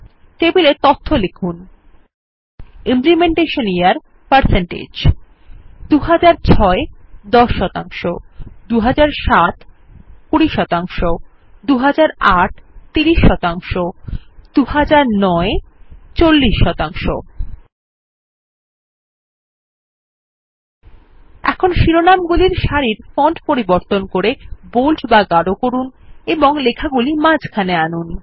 টেবিলে তথ্য লিখুন ইমপ্লিমেন্টেশন ইয়ার 160 ২০০৬ ১০ ২০০৭ ২০ ২০০৮ ৩০ ২০০৯ ৪০ এখন শিরনামগুলির সারির ফন্ট পরিবর্তন করে বোল্ড বা গাড় করুন এবং লেখাগুলি মাঝখানে আনুন